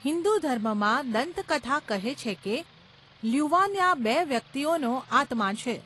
હિંદુ ધર્મમાં, દંતકથા કહે છે કે લ્યુવાનિયા બે વ્યક્તિઓનો આત્મા છે.